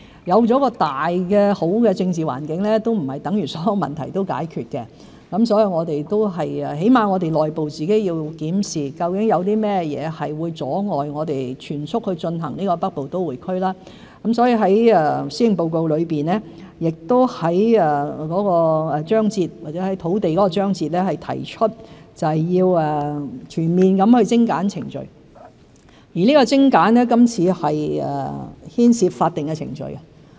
有了一個好的政治大環境，並不等於所有問題都已解決，起碼我們內部要檢視，究竟有甚麼會阻礙我們全速進行北部都會區發展，所以我在施政報告內的土地章節中提出，要全面精簡程序，而精簡牽涉法定程序。